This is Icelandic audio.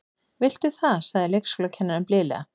Viltu það sagði leikskólakennarinn blíðlega.